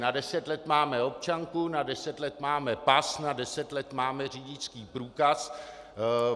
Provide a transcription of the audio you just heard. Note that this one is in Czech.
Na deset let máme občanku, na deset let máme pas, na deset let máme řidičský průkaz.